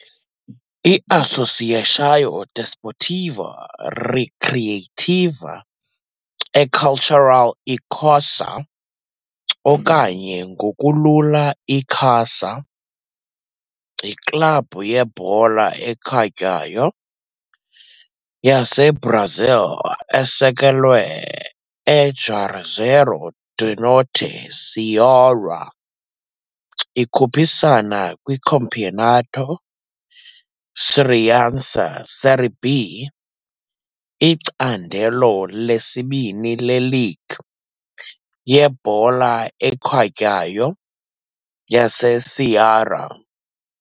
I-Associação Desportiva Recreativa e Cultural Icasa, okanye ngokulula Icasa, yiklabhu yebhola ekhatywayo yaseBrazil esekelwe eJuazeiro do Norte, Ceará. Ikhuphisana kwiCampeonato Cearense Série B, icandelo lesibini leligi yebhola ekhatywayo yaseCeará.